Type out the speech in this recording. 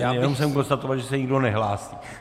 Jenom jsem konstatoval, že se nikdo nehlásí.